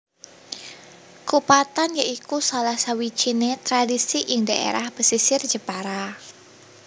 Kupatan ya iku salah sawijiné tradisi ing dhaérah pesisir Jepara